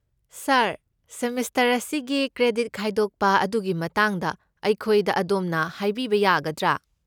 ꯁꯥꯔ, semester ꯑꯁꯤꯒꯤ credit ꯈꯥꯏꯗꯣꯛꯄ ꯑꯗꯨꯒꯤ ꯃꯇꯥꯡꯗ ꯑꯩꯈꯣꯏꯗ ꯑꯗꯣꯝꯅ ꯍꯥꯏꯕꯤꯕ ꯌꯥꯒꯗ꯭ꯔꯥ?